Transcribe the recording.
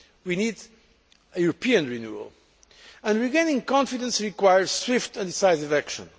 We need a European renewal, and regaining confidence requires swift and decisive action.